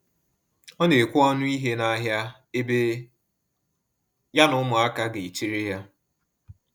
Ọ na ekwe ọnụ ihe na ahịa, ebe ya na ụmụaka ga echere ya